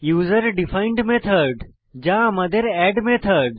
user defined method যা আমাদের add method